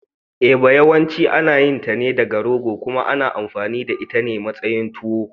Eba yawanci ana yin ta ne daga rogo kuma ana amfani da ita a matsayin tuwo.